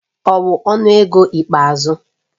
Ọ wu ọnụ ego ikpeazụ